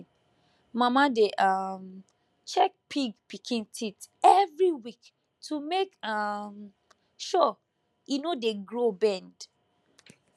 mama dey um check pig pikin teeth every week to make um sure e no dey grow bend